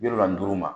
Bi wolonfila ma